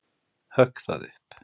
Högg það upp.